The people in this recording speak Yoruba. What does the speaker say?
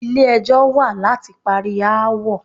Ilé ẹjọ́ wà láti parí aáwọ̀.